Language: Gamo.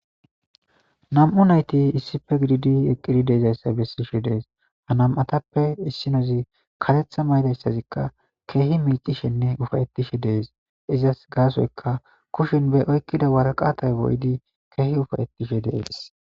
Nami'u nayti issippe gididi eqqidi de'izaysaa bessishe de'ees. Ha nama'atappe issinozi kareththa mayidaysazikka keehi miiccishenne ufa'ettishe de'es. Izas gaasoykka kushen be oyiqqida waraqaatay lo'idi keehi ufa'ettishe de'ees.